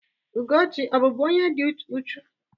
Ugochi ọ bụ bu onye di ụchù?